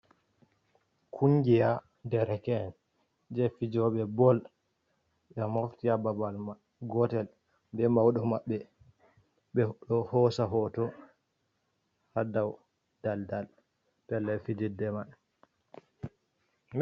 Kungiya derken je fijoɓe bol ɓe mofta babal gotel be maudo mabbe, ɓeɗo hosa hoto ha dau daldal pellel fidirde mai.